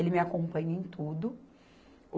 Ele me acompanha em tudo.